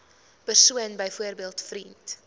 persoon byvoorbeeld vriend